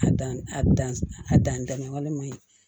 A dan a dan a dan ma walima